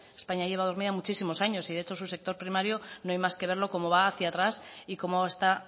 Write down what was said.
españa lleva dormida muchísimos años y de hecho su sector primario no hay más que verlo cómo va hacia atrás y cómo está